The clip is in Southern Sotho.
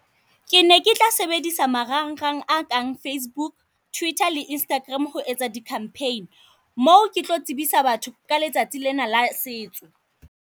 Ke ne ke tla sebedisa marangrang a kang Facebook, Twitter le Instagram ho etsa di campaign, moo ke tlo tsebisa batho ka letsatsi lena la setso.